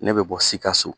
Ne bɛ bɔ sikaso